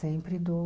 Sempre dou.